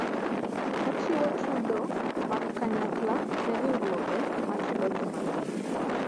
Ochiwo chudo mag kanyakla ne riwruoge ma chulo ji mang'eny.